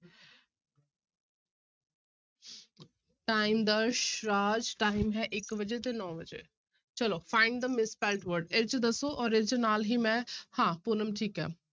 Time ਦਰਸ ਰਾਜ time ਹੈ ਇੱਕ ਵਜੇ ਤੇ ਨੋਂ ਵਜੇ, ਚਲੋ find the misspelt word ਇਹ ਚੋਂ ਦੱਸੋ ਔਰ ਇਹ ਚੋਂ ਨਾਲ ਹੀ ਮੈਂ ਹਾਂ ਪੂਨਮ ਠੀਕ ਹੈ,